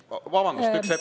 Vabandust!